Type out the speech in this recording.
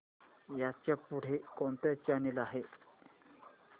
ह्याच्या पुढे कोणता चॅनल आहे